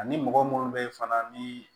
Ani mɔgɔ munnu be yen fana ni